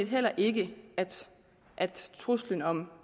heller ikke at truslen om